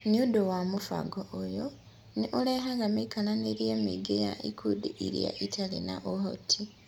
Nĩ ũndũ wa mũbango ũyũ, nĩ ũrehaga mĩikarĩre mĩingĩ ya ikundi iria itarĩ na ũhoti.